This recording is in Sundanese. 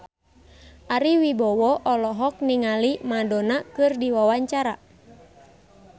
Ari Wibowo olohok ningali Madonna keur diwawancara